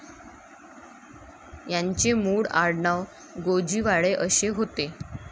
यांचे मूळ आडनाव गोजीवाडे असे होते.